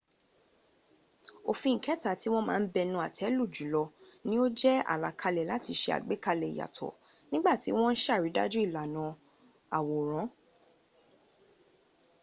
òfin ìkẹta tí wọ́n ma ń bẹnu àtẹ́ lù jùlọ ní ó jẹ́ àlàkalẹ̀ láti se àgbékalẹ̀ ìyàtọ̀ nígbà tí wọ́n ń sàrídájú ìlànà àwòrán